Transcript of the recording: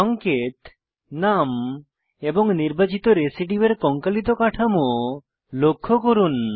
সঙ্কেত নাম এবং নির্বাচিত রেসিডিউয়ের কঙ্কালিত কাঠামো লক্ষ্য করুন